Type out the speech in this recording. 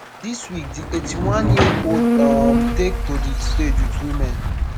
dis week di eighty-oneyearold um take to di stage with women